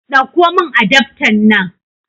Ɗakko min adaftan nan